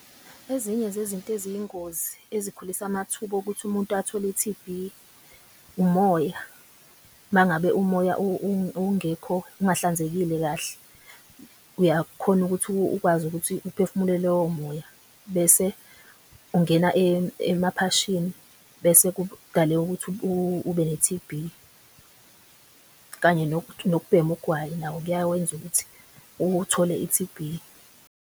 Ezinye zezinto eziyingozi ezikhulisa amathuba okuthi umuntu athole T_B umoya. Mangabe umoya ungahlanzekile kahle uyakhona ukuthi ukwazi ukuthi uphefumule lowo moya bese ungena emaphashini. Bese ukuthi ube ne-T_B kanye nokubhema ugwayi nawo kuyawenza ukuthi uthole i-T_B.